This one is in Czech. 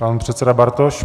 Pan předseda Bartoš.